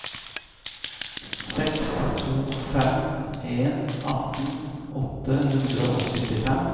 seks to fem en atten åtte hundre og syttifem